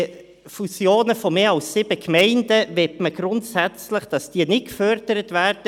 Fusionen von mehr als sieben Gemeinden sollen nicht gefördert werden.